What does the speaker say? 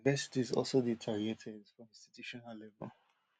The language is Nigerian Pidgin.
universities also dey targeted for institutional level